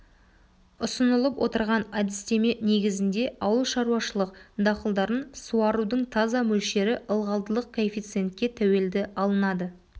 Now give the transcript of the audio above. ұсынылып отырған әдістеме негізінде ауылшаруашылық дақылдарын суарудың таза мөлшері ылғалдылық коэффициентке тәуелді алынады